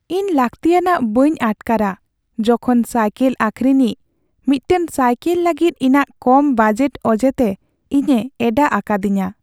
ᱤᱧ ᱞᱟᱹᱠᱛᱤᱭᱟᱱᱟᱜ ᱵᱟᱹᱧ ᱟᱴᱠᱟᱨᱟ ᱡᱚᱠᱷᱚᱱ ᱥᱟᱭᱞᱮᱠ ᱟᱹᱠᱷᱨᱤᱧᱤᱡ ᱢᱤᱫᱴᱟᱝ ᱥᱟᱭᱠᱮᱞ ᱞᱟᱹᱜᱤᱫ ᱤᱧᱟᱹᱜ ᱠᱚᱢ ᱵᱟᱡᱮᱴ ᱚᱡᱮᱛᱮ ᱤᱧᱮ ᱮᱸᱰᱟᱜ ᱟᱠᱟᱫᱤᱧᱟᱹ ᱾